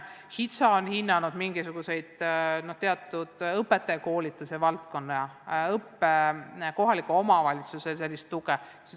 HITSA on hinnanud teatud õpetajakoolituse valdkonda, kohaliku omavalitsuse tuge.